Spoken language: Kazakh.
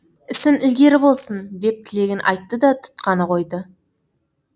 ісің ілгері болсын деп тілегін айтты да тұтқаны қойды